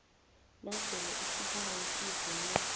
nasele isibawo sivunywe